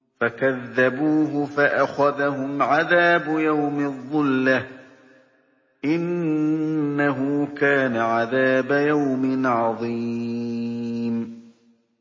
فَكَذَّبُوهُ فَأَخَذَهُمْ عَذَابُ يَوْمِ الظُّلَّةِ ۚ إِنَّهُ كَانَ عَذَابَ يَوْمٍ عَظِيمٍ